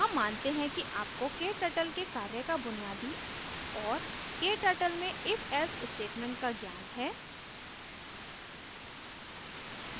हम मानते हैं कि आपको kturtle के कार्य का बुनियादी और kturtle में ifelse statement का ज्ञान है